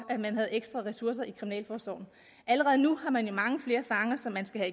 ekstra ressourcer i kriminalforsorgen allerede nu har man jo mange flere fanger som man skal